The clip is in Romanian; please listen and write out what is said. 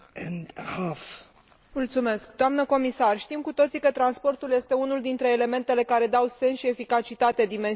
Doamnă comisar, știm cu toții că transportul este unul dintre elementele care dau sens și eficacitate dimensiunii economice a proiectului european.